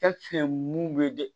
mun bɛ dɛ